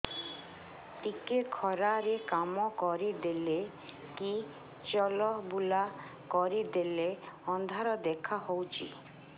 ଟିକେ ଖରା ରେ କାମ କରିଦେଲେ କି ଚଲବୁଲା କରିଦେଲେ ଅନ୍ଧାର ଦେଖା ହଉଚି